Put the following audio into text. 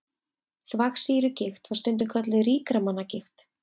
Þvagsýrugigt var stundum kölluð ríkra manna gigt.